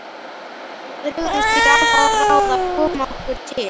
Við brugðum því á það ráð að koma okkur til